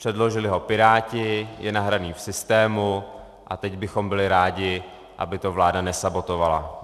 Předložili ho Piráti, je nahraný v systému a teď bychom byli rádi, aby to vláda nesabotovala.